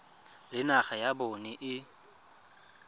le naga ya bona e